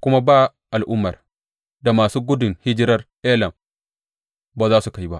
kuma ba al’ummar da masu gudun hijirar Elam ba za su kai ba.